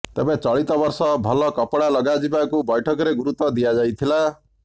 ତେବେ ଚଳିତ ବର୍ଷ ଭଲ କପଡ଼ା ଲଗାଯିବାକୁ ବୈଠକରେ ଗରୁତ୍ବ ଦିଆଯାଇଥିଲା